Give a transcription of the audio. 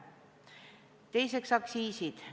Teiseks, aktsiisid.